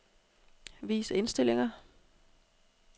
Vis indstillinger.